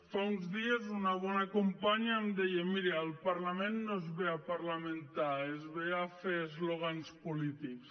fa uns dies una bona companya em deia mira al parlament no es ve a parlamentar es ve a fer eslògans polítics